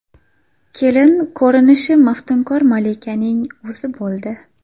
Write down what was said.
Kelin ko‘rinishi maftunkor malikaning o‘zi bo‘ldi.